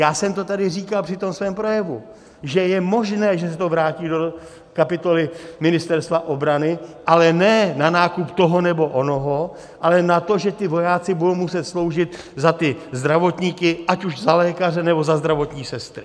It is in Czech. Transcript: Já jsem to tady říkal při tom svém projevu, že je možné, že se to vrátí do kapitoly Ministerstva obrany, ale ne na nákup toho nebo onoho, ale na to, že ti vojáci budou muset sloužit za ty zdravotníky, ať už za lékaře, nebo za zdravotní sestry.